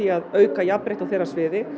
að auka jafnrétti á þeirra sviði